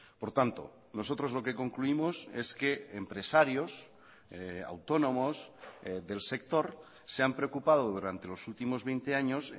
por tanto nosotros lo que concluimos es que empresarios autónomos del sector se han preocupado durante los últimos veinte años